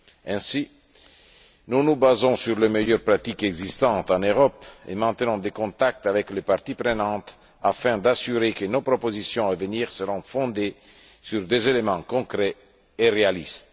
Ainsi, nous nous basons sur les meilleures pratiques existantes en Europe et maintenons des contacts avec les parties prenantes afin d'assurer que nos propositions à venir seront fondées sur des éléments concrets et réalistes.